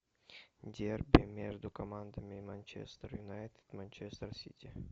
дерби между командами манчестер юнайтед манчестер сити